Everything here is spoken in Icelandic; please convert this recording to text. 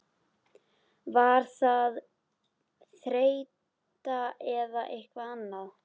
Var það þreyta eða eitthvað annað?